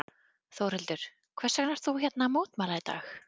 Þórhildur: Hvers vegna ert þú hérna að mótmæla í dag?